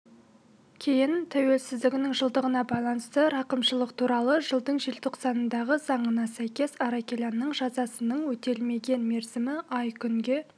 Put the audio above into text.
кейін тәуелсіздігінің жылдығына байланысты рақымшылық туралы жылдың желтоқсанындағы заңына сәйкес аракелянның жазасының өтелмеген мерзімі ай күнге